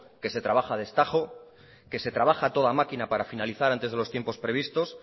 que se traba a destajo que se trabaja a toda máquina para finalizar antes de los tiempos previstos